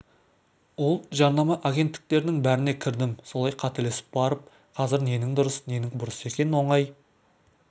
ол жарнама агенттіктерінің бәріне кірдім солай қателесіп барып қазір ненің дұрыс ненің бұрыс екенін оңай